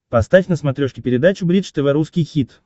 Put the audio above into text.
поставь на смотрешке передачу бридж тв русский хит